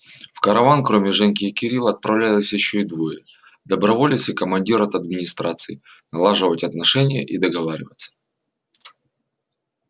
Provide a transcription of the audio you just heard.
в караван кроме женьки и кирилла отправлялись ещё двое доброволец и командир от администрации налаживать отношения и договариваться